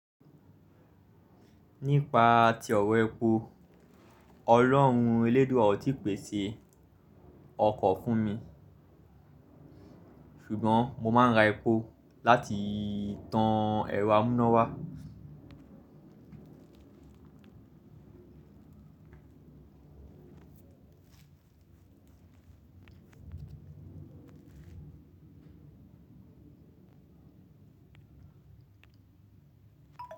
Nípa ti ọ̀wọ́ epo, Ọlọ́run eléédúa ọ́ tí pèsè ọkọ̀ fún mi, ṣùgbọ́n mo máa ń ra epo láti tan ẹ̀rọ amúnáwá.